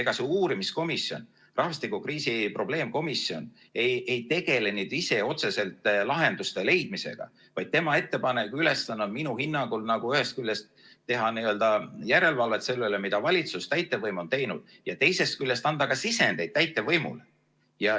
Ega see uurimiskomisjon, rahvastikukriisi probleemkomisjon ei tegele ise otseselt lahenduste leidmisega, vaid tema ülesanne on minu hinnangul ühest küljest teha järelevalvet selle üle, mida valitsus, täitevvõim on teinud, ja teisest küljest anda ka sisendeid täitevvõimule.